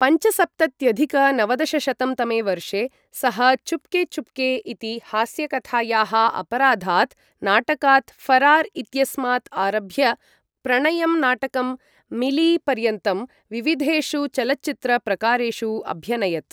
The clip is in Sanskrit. पञ्चसप्तत्यधिक नवदशशतं तमे वर्षे, सः चुप्के चुप्के इति हास्यकथायाः, अपराधात् नाटकात् फरार् इत्यस्मात् आरभ्य प्रणयं नाटकं मिली पर्यन्तं विविधेषु चलच्चित्र प्रकारेषु अभ्यनयत्।